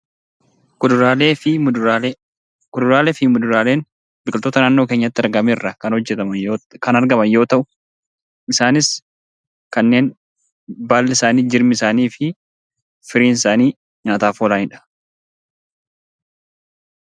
Kuduraalee fi muduraalee Kuduraalee fi muduraaleen biqiltoota naannoo keenyatti argame irraa kan argaman yoo ta'u, isaanis kanneen baalli isaanii, jirmi isaanii fi firiin isaanii nyaataaf oolanidha.